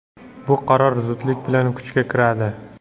Bu qaror zudlik bilan kuchga kiradi.